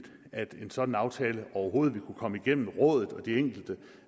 at en sådan aftale overhovedet ville kunne komme igennem rådet og de enkelte